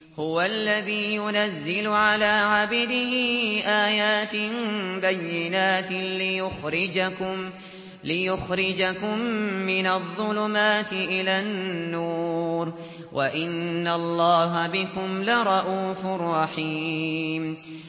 هُوَ الَّذِي يُنَزِّلُ عَلَىٰ عَبْدِهِ آيَاتٍ بَيِّنَاتٍ لِّيُخْرِجَكُم مِّنَ الظُّلُمَاتِ إِلَى النُّورِ ۚ وَإِنَّ اللَّهَ بِكُمْ لَرَءُوفٌ رَّحِيمٌ